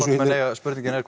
spurningin er